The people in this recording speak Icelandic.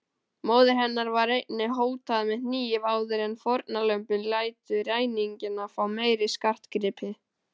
Móður hennar var einnig hótað með hníf áður en fórnarlömbin létu ræningjana fá meiri skartgripi.